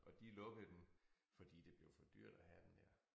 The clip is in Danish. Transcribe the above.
Og de lukkede den fordi det blev for dyrt at have den her